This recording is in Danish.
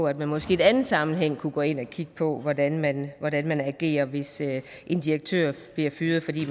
at man måske i anden sammenhæng kunne gå ind og kigge på hvordan man hvordan man agerer hvis en direktør bliver fyret fordi